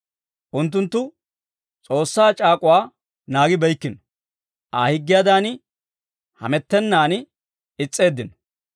Unttunttu S'oossaa c'aak'uwaa naagibeykkino; Aa higgiyaadan hamettennan is's'eeddino.